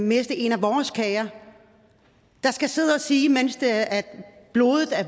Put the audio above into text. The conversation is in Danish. miste en af vores kære der skal sidde og sige mens blodet er